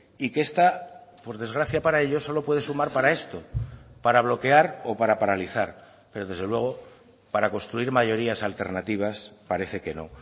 y que esta por desgracia para ellos solo puede sumar para esto para bloquear o para paralizar pero desde luego para construir mayorías alternativas parece que no